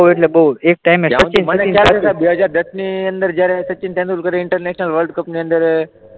બહુ બહુ એક ટાઇમે સચિન તેંડુલકર બે હજાર દસની અંદર જ્યારે ઇન્ટરનેશનલ વર્લ્ડ કપ ની અંડર